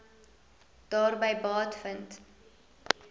daarby baat vind